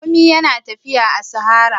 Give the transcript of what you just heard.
Raƙumi yana tafiya a sahara.